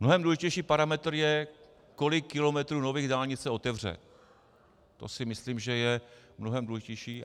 Mnohem důležitější parametr je, kolik kilometrů nových dálnic se otevře, to si myslím, že je mnohem důležitější.